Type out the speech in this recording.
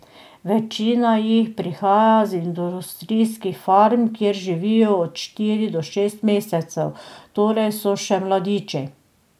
Večina jih prihaja z industrijskih farm, kjer živijo od štiri do šest mesecev, torej so še mladiči.